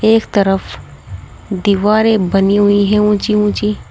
एक तरफ दीवारें बनी हुई है ऊंची ऊंची।